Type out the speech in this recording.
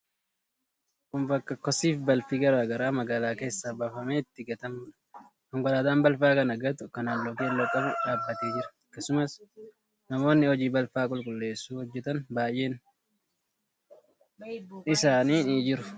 Kun bakka kosiifi balfi garaa garaa magaalaa keessaa baafamee itti gatamuudha. Konkolaataan balfa kana gatu kan halluu keelloo qabu dhaabbatee jira. Akkasumas namoonni hojii balfa qulqulleessuu hojjetan baay'een isaanii ni jiru.